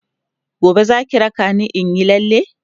gobe Zaki raka ni inyi lalle?.